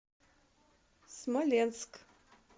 смоленск